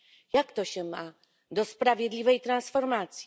Jak to się ma do sprawiedliwej transformacji?